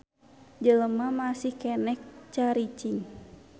Jelema masih keneh caricing.